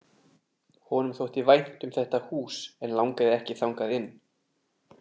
Honum þótti vænt um þetta hús en langaði ekki þangað inn.